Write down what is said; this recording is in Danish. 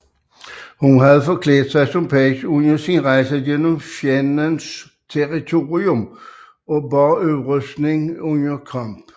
Hun havde forklædt sig som page under sin rejse gennem fjendens territorium og bar rustning under kamp